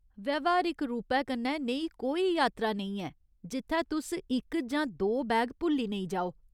व्यावहारिक रूपै कन्नै नेही कोई यात्रा नेईं ऐ जित्थै तुस इक जां दो बैग भुल्ली नेईं जाओ।